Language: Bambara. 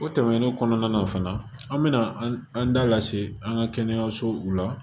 O tɛmɛnen kɔnɔna na fana an bɛna an da lase an ka kɛnɛyasow la